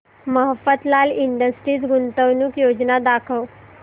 Mafatlal Industries गुंतवणूक योजना दाखव